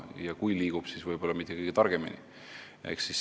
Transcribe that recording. Ja kui ta ka liigub, siis võib-olla mitte kõige targemini.